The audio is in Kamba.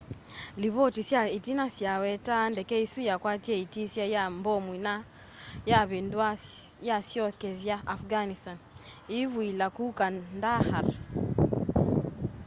livoti sya itina sya wetaa ndeke isu yakwatie itisya ya mbomu na yavinduwa yasyokethya afghanistan iivuila ku kandahar